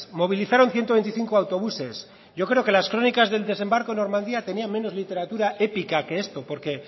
movilizaron ciento veinticinco autobuses yo creo que las crónicas del desembarco de normandia tenían menos literatura épica que esto porque